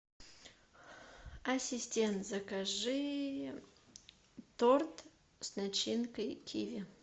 ассистент закажи торт с начинкой киви